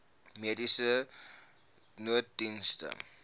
mediese nooddienste